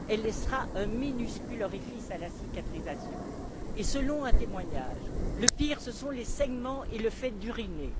Elle laissera un minuscule orifice à la cicatrisation. Et selon un témoignage, le pire ce sont les saignements et le fait d'uriner.